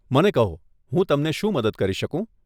મને કહો, હું તમને શું મદદ કરી શકું?